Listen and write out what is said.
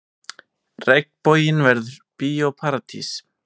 Regnboginn verður Bíó Paradís